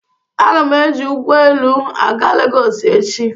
Aga m eji ụgọelu aga Legọsị echi.